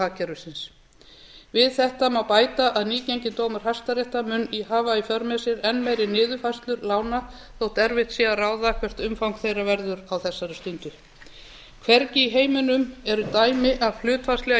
bóluhagkerfisins við þetta má bæta að nýgenginn dómur hæstaréttar mun hafa í för með sér enn meiri niðurfærslur lána þó erfitt sé að ráða hvert umfang þeirra verður á þessari stundu hvergi í heiminum eru dæmi af hlutfallslega